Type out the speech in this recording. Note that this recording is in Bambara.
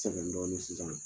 Sɛgɛn dɔɔnin sisan